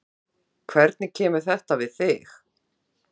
Gísli: Hvernig kemur þetta við þig?